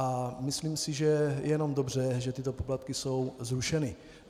A myslím si, že je jenom dobře, že tyto poplatky jsou zrušeny.